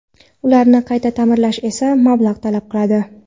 Ularni qayta ta’mirlash esa mablag‘ talab qiladi.